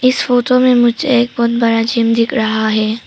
इस फोटो में मुझे एक बहोत बड़ा जिम दिख रहा है।